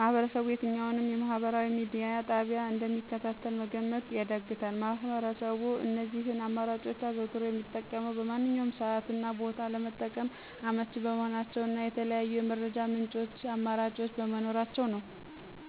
ማህበረሰቡ የትኛውን የማህበራዊ ማድያ ጣቢያ እንደሚከታተል መገመት ያዳግታል። ማህበረሰቡ እነዚህን አማራጮች አዘውትሮ የሚጠቀመው በማንኛውም ሰዓት እና ቦታ ለመጠቀም አመች በመሆናቸው እና የተለያዩ የመረጃ ምንጮች አመራጮች በመኖራቸው ነው።